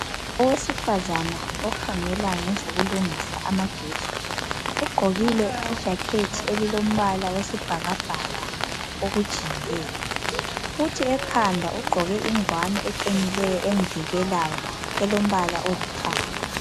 Owesifazana okhangela ngezokulungisa amagetsi ugqokile ijakhethi elilombala wesibhakabhaka okujiyileyo kuthi ekhanda ugqoke inguwani eqinileyo emvikelayo elombala olithanga.